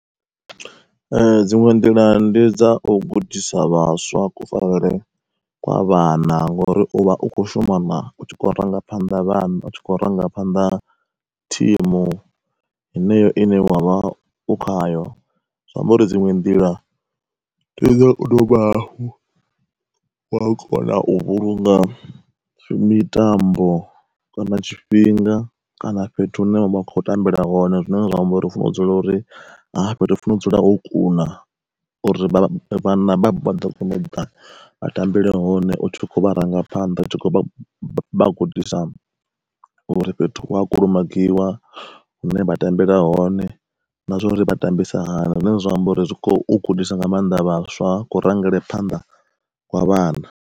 Ee dziṅwe nḓila ndi dza u gudisa vhaswa kufarelwe kwa vhana ngori uvha u kho shuma na u tshi kho rangaphanḓa vhana u tshi kho rangaphanḓa thimu, heneyo ine wavha u khayo. Zwi amba uri dziṅwe nḓila ndi dzo u dovha hafhu wa kona u vhulunga mitambo kana tshifhinga kana fhethu hune vha vha khou tambela hone. Zwine zwa amba uri u funa u dzula uri ha fhethu funa u dzula ho kuna uri vhana vha ḓo kona u ri vha tambele hone u tshi kho vharangaphanḓa u tshi kho vha gudisa uri fhethu ua kulumagiwa, hune vha tambela hone, na zwa uri vha tambisa hani zwine, zwa amba uri zwi kho gudisa nga maanḓa vhaswa ku rangele phanḓa kwa vhana.